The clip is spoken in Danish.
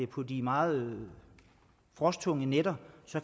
på de meget frosttunge nætter